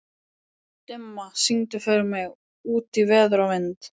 Dimma, syngdu fyrir mig „Út í veður og vind“.